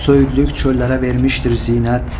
Söyüdlük çöllərə vermişdir zinət.